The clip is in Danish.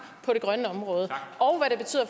på det grønne område